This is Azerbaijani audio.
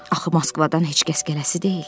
Axı Moskvadan heç kəs gələsi deyil.